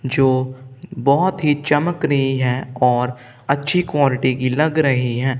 जो बहोत ही चमक री है और अच्छी क्वालिटी की लग री है।